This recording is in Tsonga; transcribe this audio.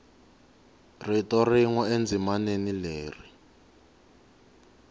rito rin we endzimaneni leri